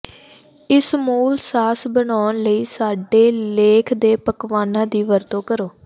ਇਸ ਮੂਲ ਸਾਸ ਬਣਾਉਣ ਲਈ ਸਾਡੇ ਲੇਖ ਦੇ ਪਕਵਾਨਾ ਦੀ ਵਰਤੋਂ ਕਰੋ